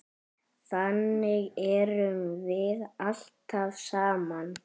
Þannig erum við alltaf saman.